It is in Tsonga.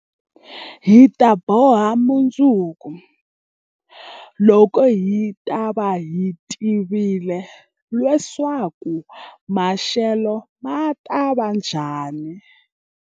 Hi ta boha mundzuku, loko hi ta va hi tivile leswaku maxelo ma ta va njhani.